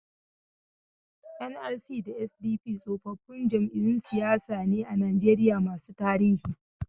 NRC da SDP tsofaffin jam'iyyun siyasa ne a Najeriya masu tarihi.